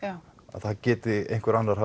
að það geti einhver annar